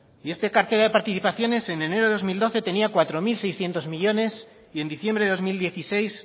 y esta cartera de participaciones en enero de dos mil doce tenía cuatro mil seiscientos millónes y en diciembre de dos mil dieciséis